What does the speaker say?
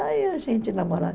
Aí a gente namorava.